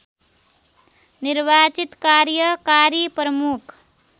निर्वाचित कार्यकारी प्रमुख